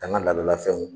An ka laadalafɛnw